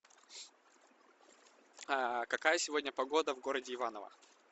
какая сегодня погода в городе иваново